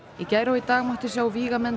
í gær og í dag mátti sjá vígamenn